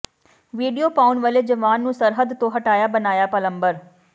video ਪਾਉਣ ਵਾਲੇ ਜਵਾਨ ਨੂੰ ਸਰਹੱਦ ਤੋਂ ਹਟਾਇਆ ਬਣਾਇਆ ਪਲੰਬਰ